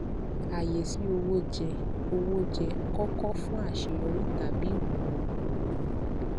ààyè sí owó jẹ owó jẹ kókó fún àṣeyọrí tàbí ìkùnà okòòwò